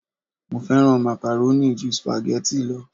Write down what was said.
Mo fẹ́ràn macaroni ju spaghetti lo